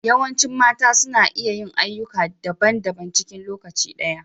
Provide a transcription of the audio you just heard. Yawancin mata suna iya yin ayyuka da daban -daban cikin lokaci ɗaya.